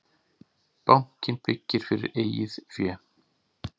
Bankinn byggir fyrir eigið fé